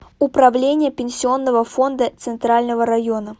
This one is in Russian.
управление пенсионного фонда центрального района